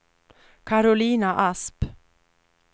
Karolina Asp